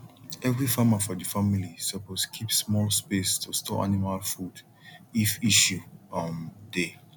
every farmer for the family suppose keep small space to store animal food if issue um dey